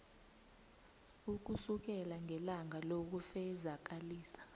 ukusukela ngelanga lokufezakalisa